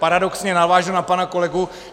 Paradoxně navážu na pana kolegu.